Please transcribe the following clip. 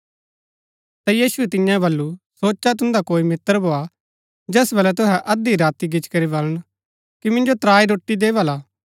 ता यीशुऐ तिआंओ वल्‍लु सोचा तुन्दा कोई मित्र भोआ जैस वलै तुहै अध्धी राती गिच्ची करी वलन कि मिन्जो त्राई रोटी दे भला